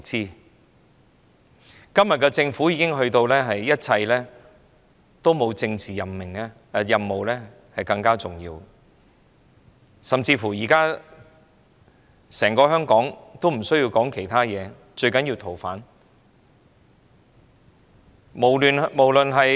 對今天的政府來說，沒有其他事情較政治任務更加重要，甚至現時整個香港均不再需要討論其他問題，最重要是處理《逃犯條例》修訂建議。